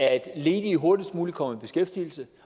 at ledige hurtigst muligt kommer i beskæftigelse